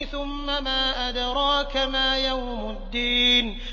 ثُمَّ مَا أَدْرَاكَ مَا يَوْمُ الدِّينِ